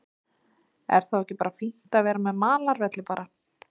Er þá ekki bara fínt að vera með malarvelli bara?